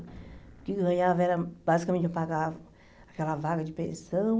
O que ganhava era basicamente pagar aquela vaga de pensão.